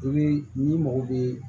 n'i mago bɛ